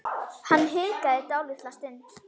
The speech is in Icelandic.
Hann hikaði dálitla stund.